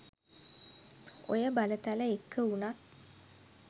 ඔය බලතල එක්ක වුණත්